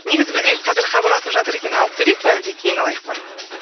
негізі бізге қазір хабарласып жатыр екен алып көрейік пе әлде кейін алайық па